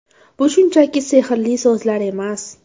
Bu shunchaki sehrli so‘zlar emas.